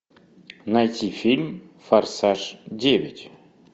найти фильм форсаж девять